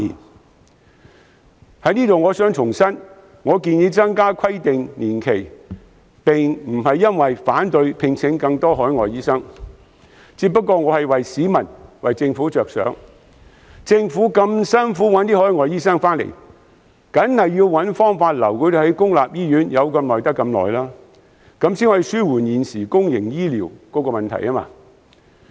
我想在此重申，我建議延長規定年期，並非因為反對聘請更多海外醫生，我只是為市民和政府着想，畢竟政府千辛萬苦找來海外醫生，自然要設法盡量把他們留在公立醫院，這樣才可紓緩現時公營醫療系統的問題。